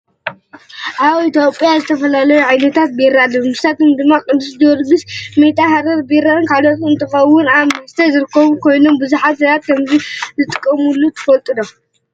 ኣብ ኢትዮጵያ ዝተፈላለዩ ዓይነታት ቢራ ኣለዉ። ንሳቶም ድማ ቅዱስ ጀውርጊስ፣ ሜታ፣ ሓረር ቢራን ካልኦትን እንትኮኑ ኣብ ቤት መስተ ዝርከቡ ኮይኖም ብዙሓት ሰባት ከምዝጥቀሙሉ ትፈልጡ'ዶ?